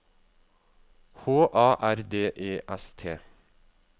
H A R D E S T